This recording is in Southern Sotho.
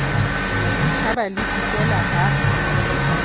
le tjhaba le dikela ba